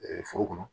foro kɔnɔ